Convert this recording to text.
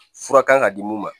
Fura kan ka di mun ma